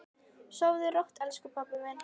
Sofðu rótt, elsku pabbi minn.